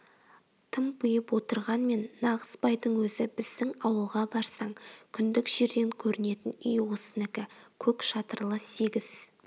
тымпиып отырғанмен нағыз байдың өзі біздің ауылға барсаң күндік жерден көрінетін үй осынікі көк шатырлы сегіз